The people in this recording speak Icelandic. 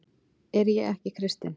Er ég ekki kristinn?